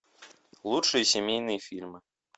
лучшие семейные фильмы